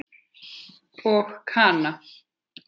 Og Kana?